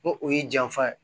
N ko o y'i janfa ye